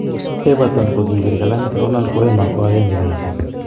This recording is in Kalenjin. Everton kokibir kalamit Ronald Koema ko agenge kasit.